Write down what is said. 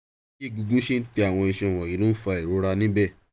bí egungun ṣe ń tẹ àwọn iṣan wọ̀nyii ló fa ìrora níbẹ̀